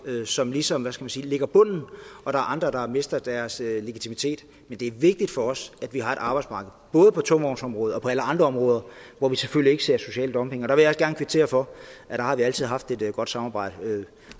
som ligesom hvad skal man sige lægger bunden og der er andre der mister deres legitimitet men det er vigtigt for os at vi har et arbejdsmarked både på tungvognsområdet og på alle andre områder hvor vi selvfølgelig ikke ser social dumping og der vil jeg kvittere for at der har vi altid haft et godt samarbejde